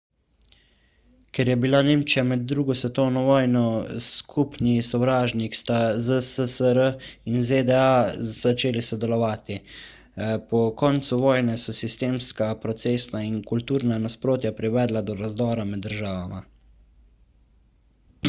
ker je bila nemčija med 2 svetovno vojno skupni sovražnik sta zssr in zda začeli sodelovati po koncu vojne so sistemska procesna in kulturna nasprotja privedla do razdora med državama